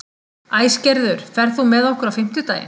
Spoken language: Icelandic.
Æsgerður, ferð þú með okkur á fimmtudaginn?